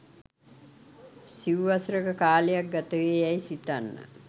සිව් වසරක කාලයක් ගතවේ යැයි සිතන්න